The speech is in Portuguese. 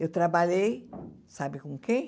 Eu trabalhei, sabe com quem?